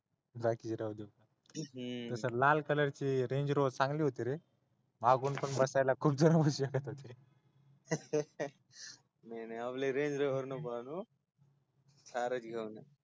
बाकीच राहू दे तस लाल कलरची रेंजरोवर चांगली होती रे मागून पण बसायला खूप जण बसत होते नाही आपल रेंजरोवर नको आणू थारच घेऊन ये